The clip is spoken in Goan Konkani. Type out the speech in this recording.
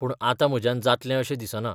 पूण आतां म्हज्यान जातलें अशें दिसना.